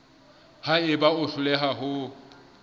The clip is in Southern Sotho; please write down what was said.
ha eba o hloleha ho